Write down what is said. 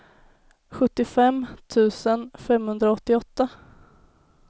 sjuttiofem tusen femhundraåttioåtta